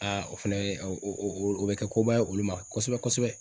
o fɛnɛ a o o o bɛ kɛ koba ye olu ma kosɛbɛ-kosɛbɛ.